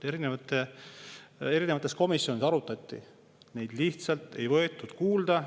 Neid arutati erinevates komisjonides, aga neid lihtsalt ei võetud kuulda.